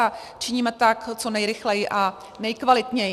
A činíme tak co nejrychleji a nejkvalitněji.